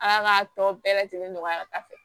A y'a ka tɔ bɛɛ lajɛlen nɔgɔya